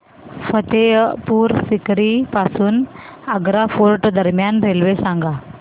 फतेहपुर सीकरी पासून आग्रा फोर्ट दरम्यान रेल्वे सांगा